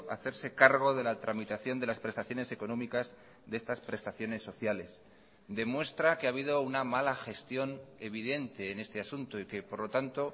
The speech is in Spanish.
hacerse cargo de la tramitación de las prestaciones económicas de estas prestaciones sociales demuestra que ha habido una mala gestión evidente en este asunto y que por lo tanto